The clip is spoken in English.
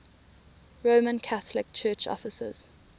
roman catholic church offices